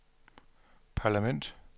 parlament